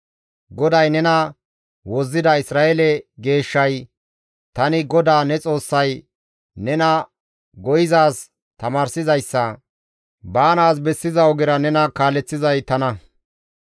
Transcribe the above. GODAY nena Wozzida Isra7eele Geeshshay, «Tani GODAA ne Xoossay, nena go7izaaz tamaarsizayssa, baanaas bessizaa ogera nena kaaleththizay tana.